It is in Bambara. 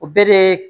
O bɛɛ de